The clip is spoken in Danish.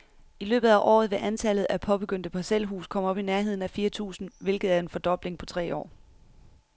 I løbet af året vil antallet af påbegyndte parcelhuse komme op i nærheden af fire tusind, hvilket er en fordobling på tre år.